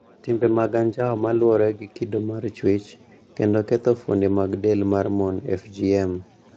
Timbe mag anjao ma luwore gi kido mar chuech, kod ketho fuonde mag del mar mon (FGM),